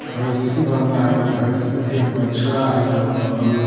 भैसी बंधा है भैसी के बछड़ा है दो।